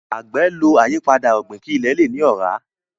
agbe ló ayipada ogbin kí ile lẹ ní ora.